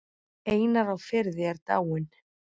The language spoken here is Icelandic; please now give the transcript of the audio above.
Einar á Firði er dáinn.